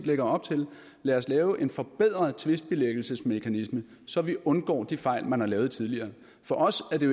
lægger op til lad os lave en forbedret tvistbilæggelsesmekanisme så vi undgår de fejl man har lavet tidligere for os er det